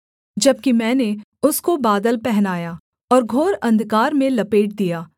जबकि मैंने उसको बादल पहनाया और घोर अंधकार में लपेट दिया